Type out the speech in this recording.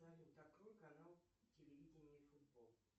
салют открой канал телевидение и футбол